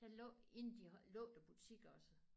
Der lå inde de har lukket butik også